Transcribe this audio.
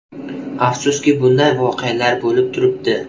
Afsuski bunday voqealar bo‘lib turibdi.